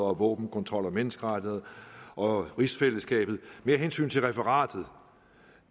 og våbenkontrol og menneskerettigheder og rigsfællesskabet mere af hensyn til referatet